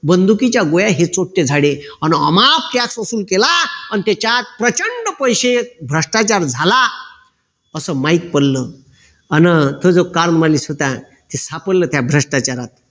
बंधुकीच्या गोळ्या हे झाडे अन अमाप त्याच्यपासून केला अन त्याच्यात प्रचंड पैसे भ्रष्टाचार झाला असं माहित पडलं अन तस काल मले स्वतः सापडलं त्या भ्रष्टाचारात